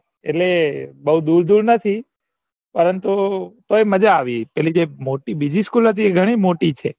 એટલે બૌ દુર દુર નથી પરંતુ તોય મજા આવી પેલી જે બીજી મોટી school હતી એ ગણી મોટી છે